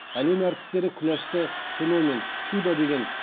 әлем әртістері күләшті феномен чудо деген